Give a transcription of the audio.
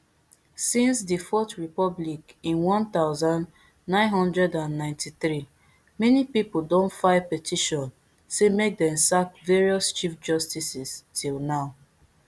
since di fourth republic in one thousand, nine hundred and ninety-three many pipo don file petition say make dem sack various chief justices till now